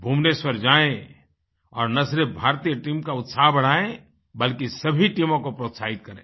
भुवनेश्वर जाएँ और न सिर्फ भारतीय टीम का उत्साहबढ़ाएँ बल्कि सभी टीमों को प्रोत्साहित करें